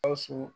Gawusu